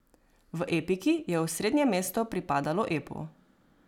V epiki je osrednje mesto pripadalo epu.